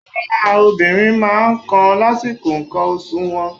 Ara obìnrin máa ń kan lásìkò ǹkan oṣù wọn.